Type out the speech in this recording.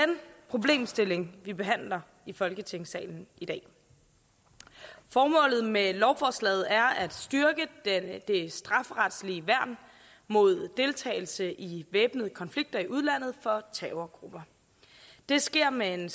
problemstilling vi behandler i folketingssalen i dag formålet med lovforslaget er at styrke det strafferetlige værn mod deltagelse i væbnede konflikter i udlandet for terrorgrupper det sker med en